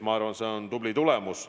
Ma arvan, see on tubli tulemus.